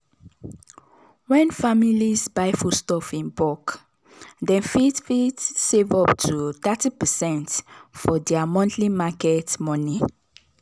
when families buy foodstuff in bulk dem fit fit save up to thirty percent for their monthly market money.